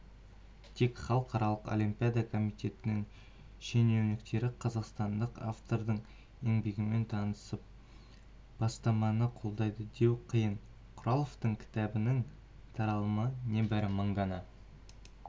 тек халықаралық олимпиада комитетінің шенеуніктері қазақстандық автордың еңбегімен танысып бастаманы қолдайды деу қиын құраловтың кітабының таралымы небары мың дана